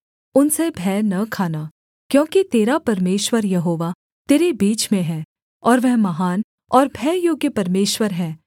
उनसे भय न खाना क्योंकि तेरा परमेश्वर यहोवा तेरे बीच में है और वह महान और भययोग्य परमेश्वर है